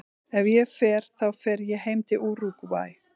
Ef ég fer þá fer ég heim til Úrúgvæ.